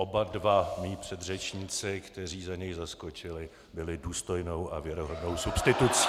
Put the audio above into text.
Oba dva mí předřečníci, kteří za něj zaskočili, byli důstojnou a věrohodnou substitucí.